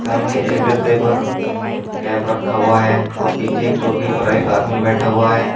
सामने एक गद्दे पर कैप रखा हुआ है और पीछे एक चौकी पर एक आदमी बैठा हुआ है।